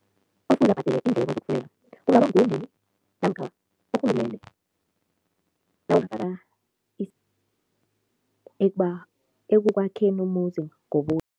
Kufuze abhadele iindleko namkha urhulumende ekukwakheni umuzi